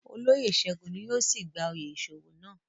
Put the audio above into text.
Oloyé Segun ni yóò si gba oyè iṣowo nàa